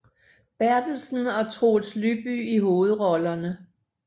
Berthelsen og Troels Lyby i hovedrollerne